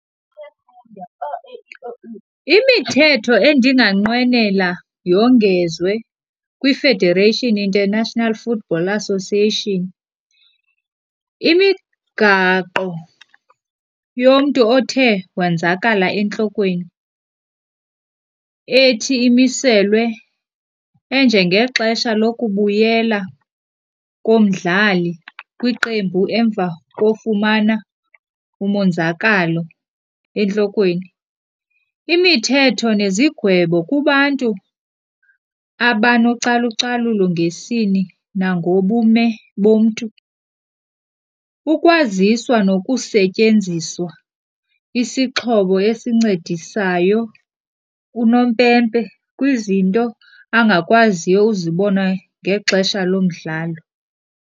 Imithetho endinganqwenela yongezwe kwiFederation International Football Association, imigaqo yomntu othe wanzakala entlokweni ethi imiselwe enjengexesha lokubuyela komdlali kwiqembu emva kofumana umonzakalo entlokweni. Imithetho nezigwebo kubantu abanocalucalulo ngesini nangobume bomntu, ukwaziswa nokusetyenziswa isixhobo esincedisayo unompempe kwizinto angakwaziyo uzibona ngexesha lomdlalo.